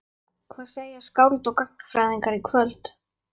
Hvað segja skáld og gagnfræðingar í kvöld?